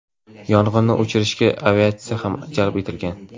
Yong‘inni o‘chirishga aviatsiya ham jalb etilgan.